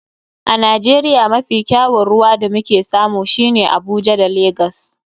A nigeria mafi kyawun ruwa da muke samu shine a abuja da lagos.